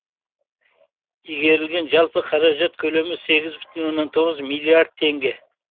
игерілген жалпы қаражат көлемі сегіз бүтін оннан тоғыз миллиард теңге